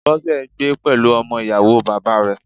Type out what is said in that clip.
Bọ́sẹ̀ ń gbé pẹ̀lú ọmọ Ìyàwóo bàbáa rẹ̀